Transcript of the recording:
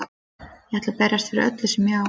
Ég ætla að berjast fyrir öllu sem ég á.